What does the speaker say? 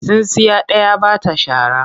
Tsintsiya ɗaya ba ta shara.